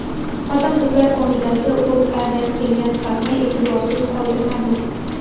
Xotin-qizlar qo‘mitasi O‘zAdan kelgan xatni e’tiborsiz qoldirmadi.